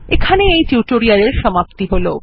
এখানেই এই টিউটোরিয়ালের সম্পতি হল